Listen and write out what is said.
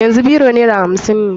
Yanzu biro naira hamsin ne.